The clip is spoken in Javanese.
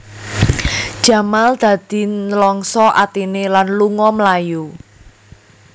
Jamal dadi nlangsa atiné lan lunga mlayu